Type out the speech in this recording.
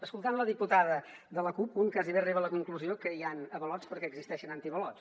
escoltant la diputada de la cup un gairebé arriba a la conclusió que hi han avalots perquè existeixen antiavalots